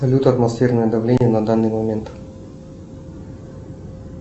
салют атмосферное давление на данный момент